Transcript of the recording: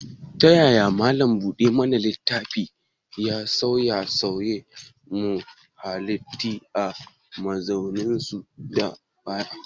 Ta yaya malam buɗe mana littafi ya dace da sauye-sauyen muhalli a mazauninsu na baya?